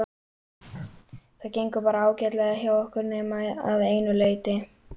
Það gengur bara ágætlega hjá okkur nema að einu leyti.